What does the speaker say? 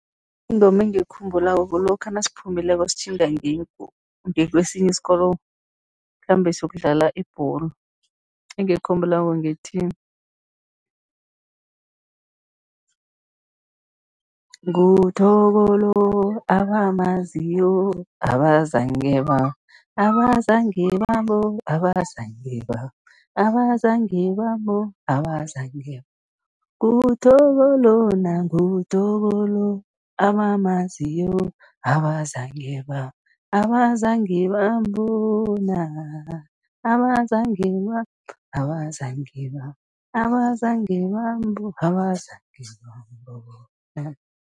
Ingoma engiyikhumbulako, kulokha nasiphumileko sitjhinga ngekwesinye isikolo, sikhambe siyokudlala ibholo. Engiyikhumbulako ngethi, nguThoko lo, abamaziyo, abazange ba, abazange bambo, abazange ba, abazange bambo, abazange ba, nguThoko lona, nguThoko lo, abamaziyo, abazange ba, abazange bambona, abazange ba, abazange ba, abazange bambo, abazange bambona.